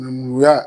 Nuya